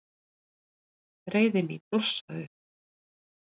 Reiði mín blossaði upp.